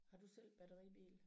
Har du selv batteribil?